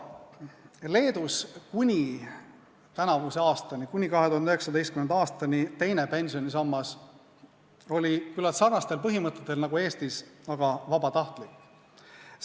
Leedus oli kuni tänavu aastani, kuni 2019. aastani teine pensionisammas küllalt sarnastel põhimõtetel nagu Eestis vabatahtlik pensionisammas.